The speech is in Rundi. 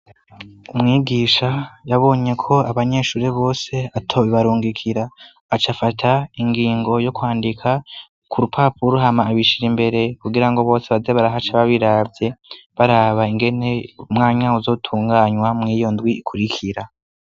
Umwigisha yabonye ko abanyeshure bose atobibarungikira, aca afata ingingo yo kwandika ku rupapuro hama abishira imbere kugira ngo bose baze barahaca babiravye, baraba ingene mwanya uzotunganywa mw' iyo ndwi ikurikira.